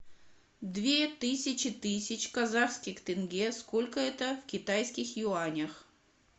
две тысячи тысяч казахских тенге сколько это в китайских юанях